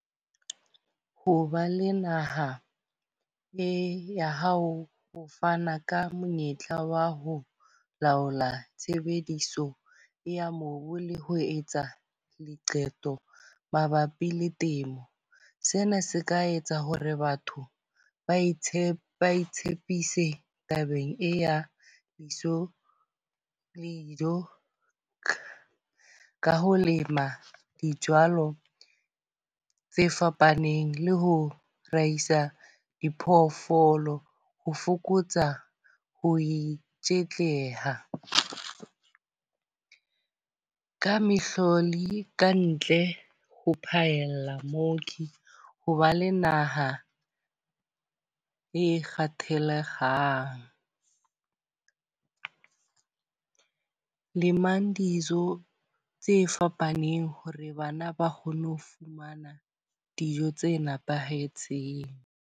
Ho ba le naha e ya hao ho fana ka monyetla wa ho laola tshebediso ya mobu le ho etsa diqeto mabapi le temo. Sena se ka etsa hore batho ba itshepe ba tshepise tabeng ya bitso dijo. Ka ho lema dijalo tse fapaneng le ho raisa diphoofolo. Ho fokotsa ho itshetleha ka mehlodi kantle ho phaella mooki. Ho ba le naha e kgathalekgang. Lemang dijo tse fapaneng hore bana ba kgone ho fumana dijo tse nepahetseng.